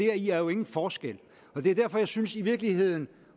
er jo ingen forskel det er derfor jeg synes i virkeligheden